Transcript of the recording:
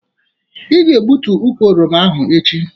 Ị ga-egbutu ukwụ oroma ahụ echi.